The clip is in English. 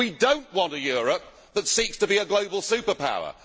We do not want a Europe that seeks to be a global superpower.